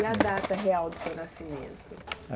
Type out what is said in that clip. E a data real do seu nascimento?